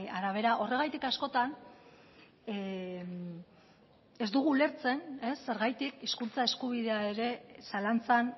arabera horregatik askotan ez dugu ulertzen zergatik hizkuntza eskubidea ere zalantzan